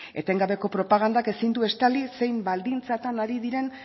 etengabeko propagandak ezin du estali zein baldintzetan ari diren